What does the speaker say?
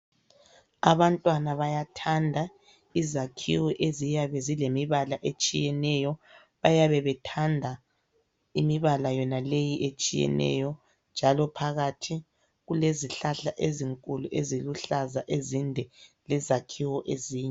Abantwana bayathanda izakhiwo eziyabe zilemibala etshiyeneyo, bayabe bethanda imibala yona leyi etshiyeneyo, njalo phakathi kulezihlahla ezinkulu eziluhlaza ezinde lezakhiwo ezinde.